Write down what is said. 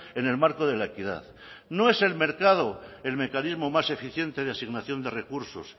en el marco de la equidad no es el mercado el mecanismo más eficiente de asignación de recursos